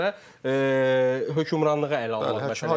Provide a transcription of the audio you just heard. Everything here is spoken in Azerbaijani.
Puldandan əlavə hökmranlığı ələ almaq məsələsidir.